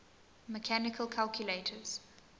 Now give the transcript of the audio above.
mechanical calculators